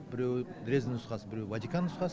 біреуі дрезден нұсқасы біреуі ватикан нұсқасы